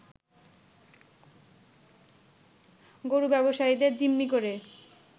গরু ব্যবসায়ীদের জিম্মি করে